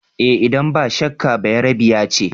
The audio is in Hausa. Eh idan ba shakka, Bayerebiya ce.